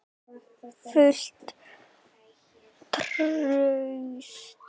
Fullt traust?